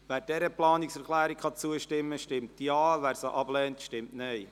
Wer dieser Planungserklärung zustimmen kann, stimmt Ja, wer sie ablehnt, stimmt Nein.